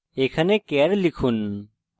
এখানে char লিখুন